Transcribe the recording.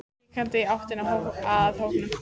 Gekk hikandi í áttina að hópnum.